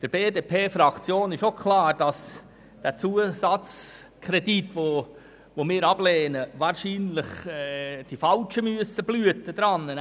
Der BDP-Fraktion ist auch klar, dass bei einer Ablehnung des Zusatzkredits wahrscheinlich die Falschen die Leidtragenden sind.